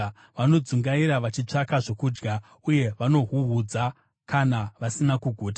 Vanodzungaira vachitsvaka zvokudya, uye vanohuhudza kana vasina kuguta.